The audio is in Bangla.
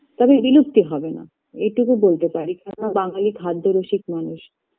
তবে বিলুপ্তি হবে না এটুকু বলতে পারি কেননা বাঙালি খাদ্যরসিক মানুষ